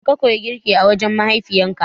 Yaushe ka koyi girki a wajen mahaifiyarka?